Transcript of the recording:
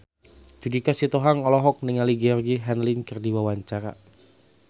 Judika Sitohang olohok ningali Georgie Henley keur diwawancara